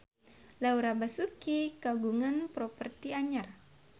Laura Basuki kagungan properti anyar